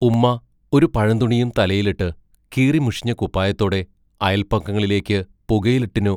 ഉമ്മാ ഒരു പഴന്തുണിയും തലയിലിട്ട് കീറി മുഷിഞ്ഞ കുപ്പായത്തോടെ അയൽപക്കങ്ങളിലേക്ക് പുകയിലട്ടിനോ